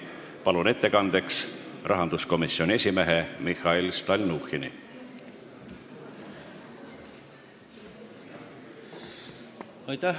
Palun siia ettekandeks rahanduskomisjoni esimehe Mihhail Stalnuhhini!